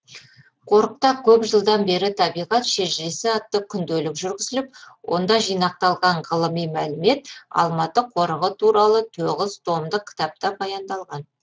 қорықта көп жылдан бері табиғат шежіресі атты күнделік жүргізіліп онда жинақталған ғылыми мәліметтер алматы қорығы туралы тоғыз томдық кітапта баяндалған